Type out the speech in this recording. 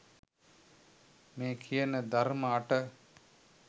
මේ කියන ධර්ම අට